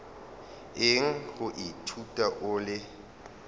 eng go ithuta o le